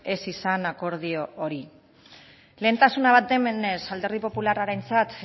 ez izan akordio hori lehentasun bat denez alderdi popularrarentzat